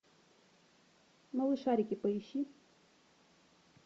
малышарики поищи